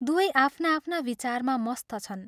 दुवै आफ्ना आफ्ना विचारमा मस्त छन्।